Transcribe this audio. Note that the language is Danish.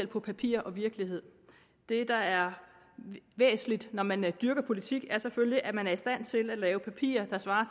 på papir og virkelighed det der er væsentligt når man dyrker politik er selvfølgelig at man er i stand til at lave papirer der svarer